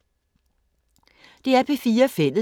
DR P4 Fælles